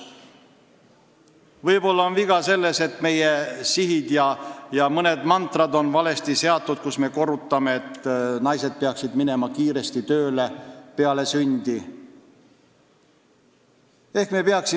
Võib-olla on viga selles, et meie sihid ja mõned mantrad on valesti seatud, kui me korrutame, et naised peaksid kiiresti peale lapse sündi tööle minema.